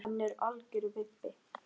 Hann er algjör vibbi.